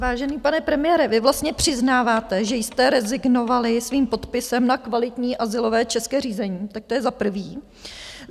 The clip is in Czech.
Vážený pane premiére, vy vlastně přiznáváte, že jste rezignovali svým podpisem na kvalitní azylové české řízení, tak to je za prvé.